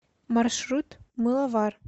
маршрут мыловар